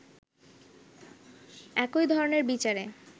একইধরনের বিচারে